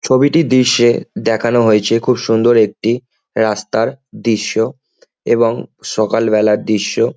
ছবিটি দৃশ্যে দেখানো হয়েছে খুব সুন্দর একটি রাস্তার দৃশ্য এবং সকালবেলার দৃশ্য।